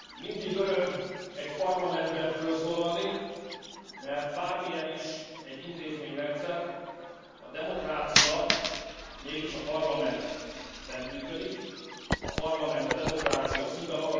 Mindig öröm egy parlamentben fölszólalni, mert bármilyen is egy intézményrendszer, a demokrácia mégis a parlamentben működik, a parlament a demokrácia szíve.